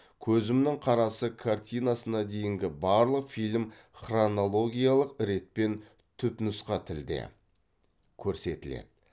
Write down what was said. көзімнің қарасы картинасына дейінгі барлық фильм хронологиялық ретпен түпнұсқа тілде көрсетіледі